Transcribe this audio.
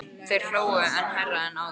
Þeir hlógu enn hærra en áður.